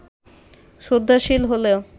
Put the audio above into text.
শ্রদ্ধাশীল হলেও